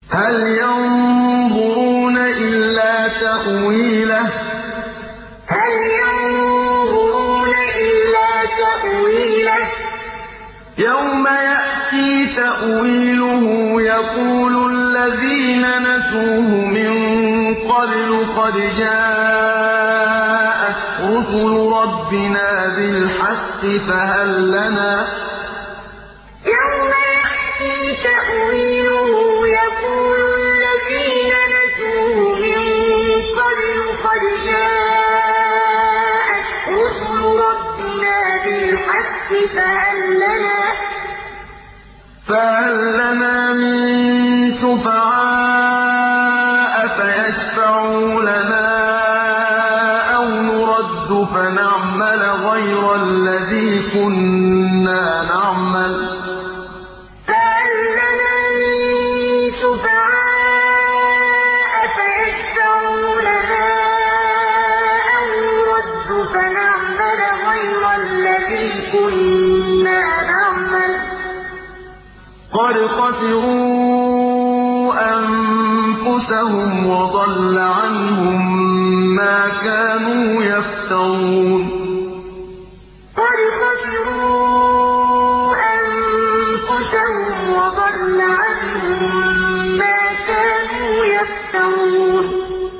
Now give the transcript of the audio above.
هَلْ يَنظُرُونَ إِلَّا تَأْوِيلَهُ ۚ يَوْمَ يَأْتِي تَأْوِيلُهُ يَقُولُ الَّذِينَ نَسُوهُ مِن قَبْلُ قَدْ جَاءَتْ رُسُلُ رَبِّنَا بِالْحَقِّ فَهَل لَّنَا مِن شُفَعَاءَ فَيَشْفَعُوا لَنَا أَوْ نُرَدُّ فَنَعْمَلَ غَيْرَ الَّذِي كُنَّا نَعْمَلُ ۚ قَدْ خَسِرُوا أَنفُسَهُمْ وَضَلَّ عَنْهُم مَّا كَانُوا يَفْتَرُونَ هَلْ يَنظُرُونَ إِلَّا تَأْوِيلَهُ ۚ يَوْمَ يَأْتِي تَأْوِيلُهُ يَقُولُ الَّذِينَ نَسُوهُ مِن قَبْلُ قَدْ جَاءَتْ رُسُلُ رَبِّنَا بِالْحَقِّ فَهَل لَّنَا مِن شُفَعَاءَ فَيَشْفَعُوا لَنَا أَوْ نُرَدُّ فَنَعْمَلَ غَيْرَ الَّذِي كُنَّا نَعْمَلُ ۚ قَدْ خَسِرُوا أَنفُسَهُمْ وَضَلَّ عَنْهُم مَّا كَانُوا يَفْتَرُونَ